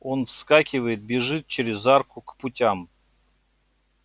он вскакивает бежит через арку к путям